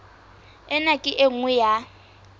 ena ke e nngwe ya